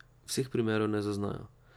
Vseh primerov ne zaznajo.